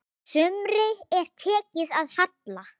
Sumri er tekið að halla.